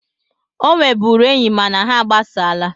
Ọ nwebụrụ enyi mana ha agbasaala